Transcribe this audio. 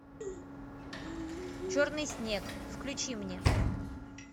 черный снег включи мне